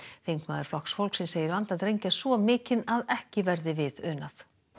þingmaður Flokks fólksins segir vanda drengja svo mikinn að ekki verði við unað